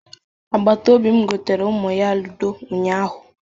Agbatobi m goteere ụmụ ya ludo ụnyaahụ.